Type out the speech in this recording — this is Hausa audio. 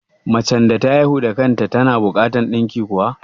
Macen da ta haihu da kan ta tana buƙatan ɗinki kuwa?